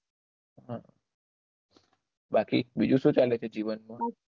બાકી બીજું શું ચાલે છે જીવન માં